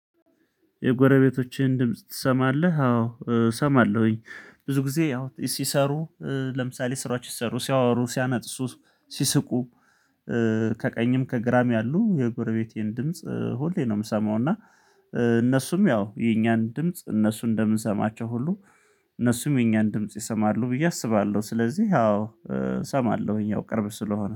የጎረቤቶችህን ድምጽ ትሰማለህ? አዎ እሰማለሁኝ ብዙ ጊዜ ያው ሲሰሩ ለምሳሌ ስራዎች ሲሰሩ ሲያወሩ ሲነጥሱ ሲስቁ። ከቀኝም ከግራም ያሉ የጎረቤቴን ድምጽ ሁሌ ነው የምሰማው። እና እነሱም ያው የኛን ድምጽ እነሱ እንደምንሰማቸው ሁሉ እነሱም የኛን ድምጽ ይሰማሉ ብዬ አስባለሁ። ስለዚህ አዎ እሰማለሁኝ ያው ቅርብ ስለሆነ